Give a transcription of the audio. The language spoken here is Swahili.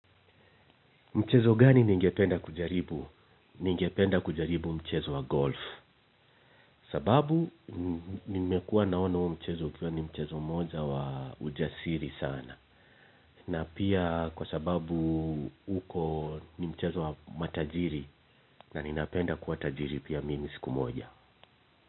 Mchezo gani ningependa kujaribu? Ningependa kujaribu mchezo wa golf. Sababu nimekua naona huo mchezo ukiwa ni mchezo mmoja wa ujasiri sana. Na pia kwa sababu uko ni mchezo wa matajiri na ninapenda kuwa tajiri pia siku moja.